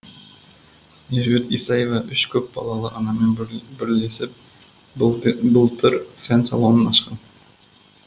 меруерт исаева үш көпбалалы анамен бірлесіп былтыр сән салонын ашқан